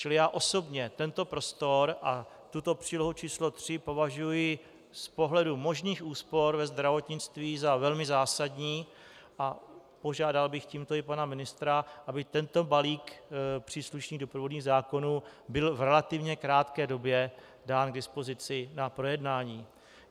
Čili já osobně tento prostor a tuto přílohu č. 3 považuji z pohledu možných úspor ve zdravotnictví za velmi zásadní a požádal bych tímto i pana ministra, aby tento balík příslušných doprovodných zákonů byl v relativně krátké době dán k dispozici na projednání.